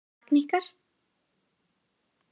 Ég sakna ykkar.